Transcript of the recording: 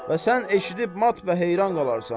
Və sən eşidib mat və heyran qalarsan.